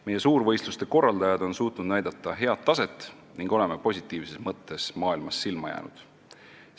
Meie suurvõistluste korraldajad on suutnud näidata head taset ning oleme maailmas positiivses mõttes silma jäänud.